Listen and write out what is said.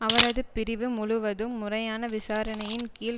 அவரது பிரிவு முழுவதும் முறையான விசாரணையின் கீழ்